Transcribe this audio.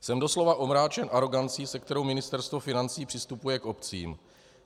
Jsem doslova omráčen arogancí, se kterou Ministerstvo financí přistupuje k obcím.